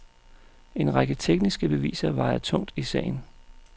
En række tekniske beviser vejer tungt i sagen.